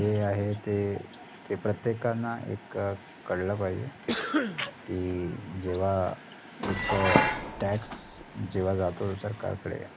जे आहे ते ते प्रत्येकांना एक कळलं पाहिजे कि, जेव्हा एक tax जेव्हा जातो सरकारकडे